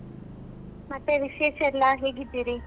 ಮತ್ತೆ ವಿಶೇಷ ಎಲ್ಲ ಹೇಗಿದ್ದೀರಿ?